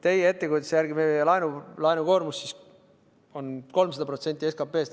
Teie ettekujutuse järgi meie laenukoormus siis on 300% SKP-st.